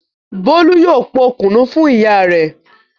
Bólú yóò po kùnú fún ìyá rẹ̀.